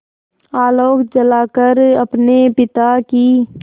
आलोक जलाकर अपने पिता की